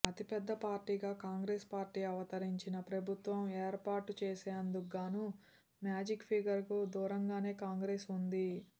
అతిపెద్ద పార్టీగా కాంగ్రెస్ పార్టీ అవతరించినా ప్రభుత్వం ఏర్పాటు చేసేందుకుగాను మ్యాజిక్ ఫిగర్ కు దూరంగానే కాంగ్రెస్ ఉంది